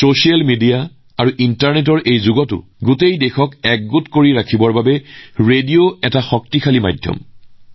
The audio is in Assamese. ছচিয়েল মিডিয়া আৰু ইণ্টাৰনেটৰ এই যুগতো ৰেডিঅ হৈছে সমগ্ৰ দেশক সংযোগ কৰাৰ এক শক্তিশালী মাধ্যম